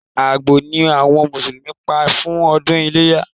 Àgbò ni àwọn Mùsùlùmí Pa fún ọdún iléyá